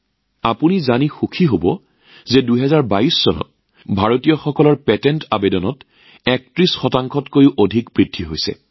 আপোনালোকে জানি আনন্দিত হব যে ২০২২ চনত ভাৰতীয়ৰ পেটেণ্ট আবেদন ৩১ শতাংশতকৈ অধিক বৃদ্ধি পাইছে